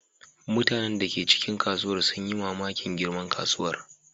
Mutanen da ke cikin kasuwar sun yi mamakin girman kasuwar.